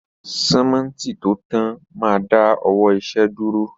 Símẹ́ǹtì tó tán máa dá ọwọ́ iṣẹ dúró